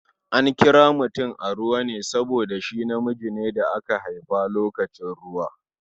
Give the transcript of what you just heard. An kira mutum Aruwa ne saboda shi namiji ne da aka haifa lokacin ruwa.